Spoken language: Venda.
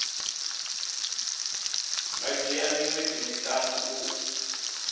nga dzhia miṅwedzi miṱanu u